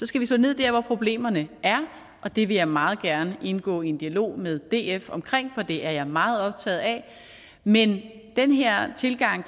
skal slå ned der hvor problemerne er og det vil jeg meget gerne indgå i en dialog med df omkring for det er jeg meget optaget af men den her tilgang